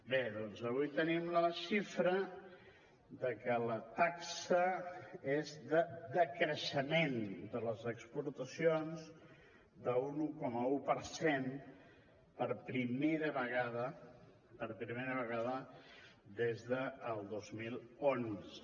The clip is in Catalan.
bé doncs avui tenim la xifra de que la taxa és de decreixement de les exportacions d’un un coma un per cent per primera vegada per primera vegada des del dos mil onze